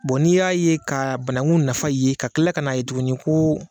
n'i y'a ye, ka banakun nafa ye, ka kila ka n'a ye tuguni ko